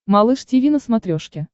малыш тиви на смотрешке